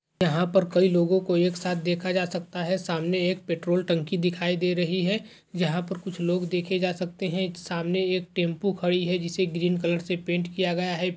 यहां पर कई लोगों को एक साथ देखा जा सकता है सामने एक पेट्रोल टंकी दिखाई दे रही है जहां पर कुछ लोग देखे जा सकते हैं। सामने एक टेंपो खड़ी है जिसे ग्रीन कलर से पेंट किया गया है।